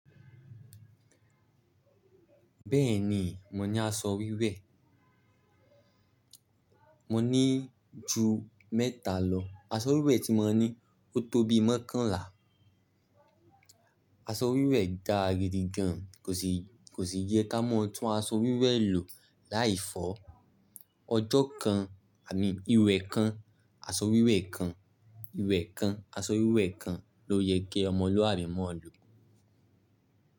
Bẹ́ẹ̀ni, ma ní aṣọ wíwẹ̀. Mò ní jù mẹ́tà lọ. Aṣọ wíwẹ̀ tí ma ní ó tóbi makànlá. Aṣọ wíwẹ̀ da gídi gan ko sii Kò sì yẹ ká mò tún aṣọ wíwẹ̀ lò láìfọ́. Ọjọ́ kan, àmín, ìwẹ̀ kan, aṣọ wíwẹ̀ kan, ìwẹ̀ kan, aṣọ wíwẹ̀ kan ló yẹ kí ọmọlúwàbí mọ́ọ̀ lò.